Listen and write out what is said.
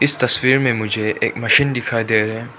इस तस्वीर मे मुझे एक मशीन दिखाई दे रहा है।